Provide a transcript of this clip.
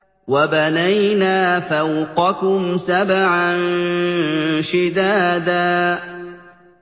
وَبَنَيْنَا فَوْقَكُمْ سَبْعًا شِدَادًا